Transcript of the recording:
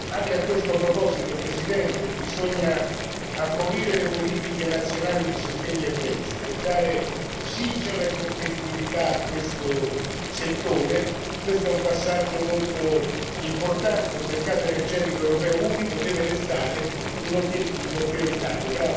Anche a questo proposito, signor Presidente, bisogna abolire le politiche nazionali di sostegno ai prezzi, per dare ossigeno e competitività a questo settore, questo è un passaggio molto importante un mercato energetico europeo unico deve restare un obiettivo prioritario.